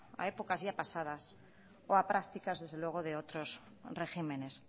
a épocas ya pasadas o a prácticas desde luego de otros regímenes